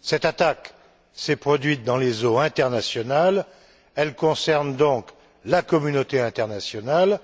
Cette attaque s'est produite dans les eaux internationales, elle concerne donc la communauté internationale,